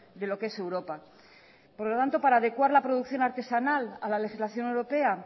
de lo que es europa por lo tanto para adecuar la producción artesanal a la legislación europea